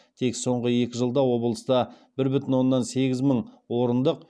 тек соңғы екі жылда облыста бір бүтін оннан сегіз мың орындық